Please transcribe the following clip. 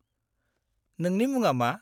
-नोंनि मुङा मा?